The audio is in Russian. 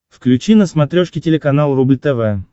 включи на смотрешке телеканал рубль тв